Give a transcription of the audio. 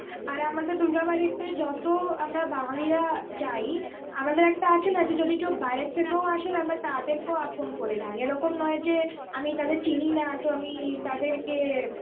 আর আমাদের দুর্গাবারিতে যত আমরা বাঙালিরা যাই, আমাদের একটা আছে না যদি কেউ বাইরের থেকেও আসে, আমরা তাদেরকেও আপন করে নিই. এরকম নয় যে আমি তাদের চিনি না, তো আমি তাদেরকে